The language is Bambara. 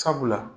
Sabula